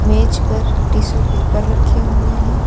मेज पर tissue paper रखे हुए हैं।